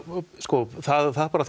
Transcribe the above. sko það er bara